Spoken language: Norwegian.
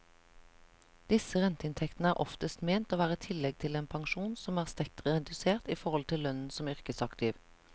Disse renteinntektene er oftest ment å være et tillegg til en pensjon som er sterkt redusert i forhold til lønnen som yrkesaktiv.